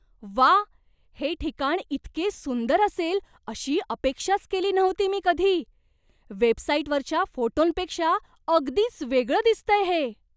व्वा! हे ठिकाण इतके सुंदर असेल अशी अपेक्षाच केली नव्हती मी कधी. वेबसाईटवरच्या फोटोंपेक्षा अगदीच वेगळं दिसतंय हे.